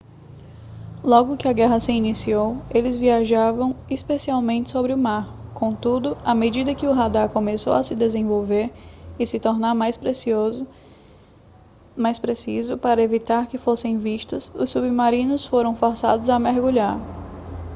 logo que a guerra se iniciou eles viajavam especialmente sobre o mar contudo à medida que o radar começou a se desenvolver e se tornar mais preciso para evitar que fossem vistos os submarinos foram forçados a mergulhar